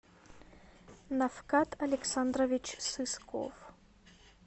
нафкат александрович сысков